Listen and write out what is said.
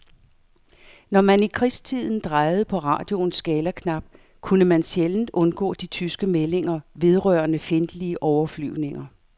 Når man i krigstiden drejede på radioens skalaknap, kunne man sjældent undgå de tyske meldinger vedrørende fjendtlige overflyvninger.